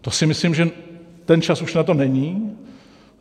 To si myslím, že ten čas už na to není.